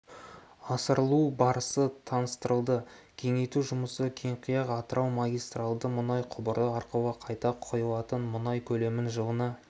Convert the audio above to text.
асырылу барысы таныстырылды кеңейту жұмысы кеңқияқ-атырау магистральді мұнай құбыры арқылы қайта құйылатын мұнай көлемін жылына